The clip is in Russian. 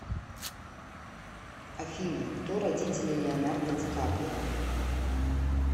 афина кто родители леонардо ди каприо